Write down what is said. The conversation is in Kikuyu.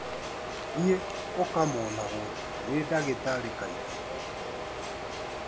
Thiĩ ũkamonagwo nĩ ndagĩtarĩ kaingĩ.